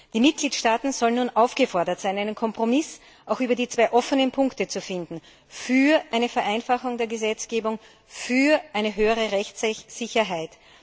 Die Mitgliedstaaten sind nun aufgefordert, einen Kompromiss über die zwei offenen Punkte zu finden Für eine Vereinfachung der Gesetzgebung, für eine höhere Rechtssicherheit.